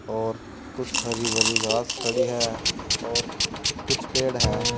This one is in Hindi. और कुछ हरी भरी घास खड़ी है और कुछ पेड़ है।